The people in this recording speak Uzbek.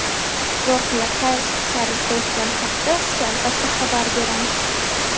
Voqea qay tarzda o‘tgani haqida sizga albatta xabar beramiz!